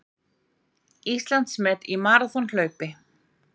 Íslandsmet í maraþonhlaupi